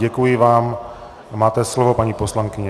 Děkuji vám a máte slovo, paní poslankyně.